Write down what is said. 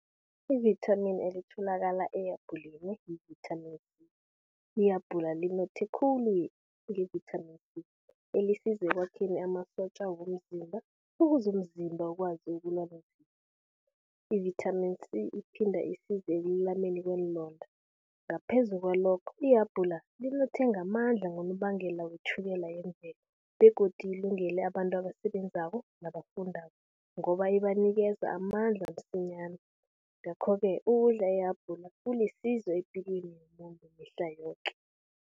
Ivithamini elitholakala ehabhuleni yivithamini C. Ihabhula linothe khuli ngevithamini C, elisiza ekwakhena amasotja womzimba, ukuze umzimba ukwazi ukulwa . Ivithamini C, iphinda isize ekululameni kweenlonda. Ngaphezu kwalokho, ihabhula linothe ngamandla ngonobangela wetjhukela yemvelo begodu ilungele abantu abasebenzako nabafundako ngoba ibanikeza amandla msinyana. Ngakho-ke ukudla ihabhula kulisizo epilweni yomuntu mihla yoke.